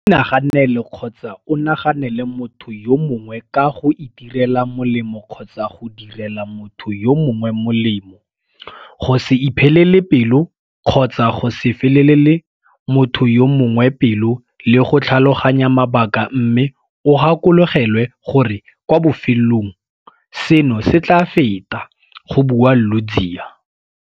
Inaganele kgotsa o naganele motho yo mongwe ka go itirela molemo kgotsa go direla motho yo mongwe molemo, go se iphelele pelo kgotsa go se felele motho yo mongwe pelo le go tlhaloganya mabaka mme o gakologelwe gore kwa bofelong seno se tla feta, go bua Ludziya.